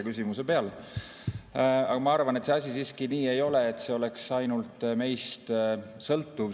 Ma arvan, et see asi siiski nii ei ole, et see oleks ainult meist sõltuv.